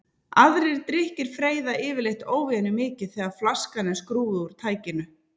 Aðrir drykkir freyða yfirleitt óvenjumikið þegar flaskan er skrúfuð úr tækinu.